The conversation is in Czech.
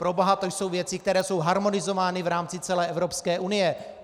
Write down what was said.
Proboha, to jsou věci, které jsou harmonizovány v rámci celé Evropské unie!